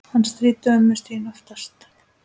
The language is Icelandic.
Hann stríddi ömmu Stínu oft.